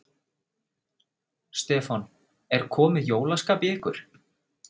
Stefán: Er komið jólaskap í ykkur?